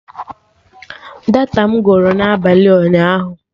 Data my gwụrụ n'abalị ụnyaahụ